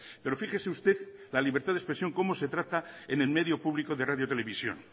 pero fíjese usted la libertad de expresión cómo se trata en el medio público de radiotelevisión